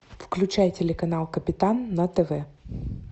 включай телеканал капитан на тв